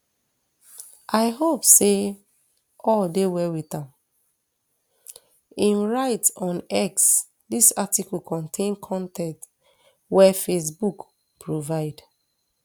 i hope say all dey well wit am im write on x dis article contain con ten t wey facebook provide